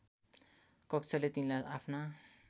कक्षले तिनलाई आफ्ना